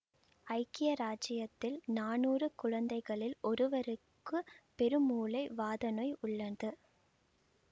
ஐக்கிய இராஜ்ஜியத்தில் நானூறு குழந்தைகளில் ஒருவருக்கு பெருமூளை வாதநோய் உள்ளது